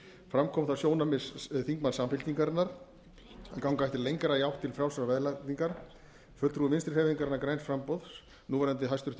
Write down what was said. fram kom það sjónarmið þingmanns samfylkingarinnar að ganga ætti lengra í átt til frjálsrar verðlagningar fulltrúi vinstri hreyfingarinnar græns framboðs núverandi hæstvirtum sjávarútvegs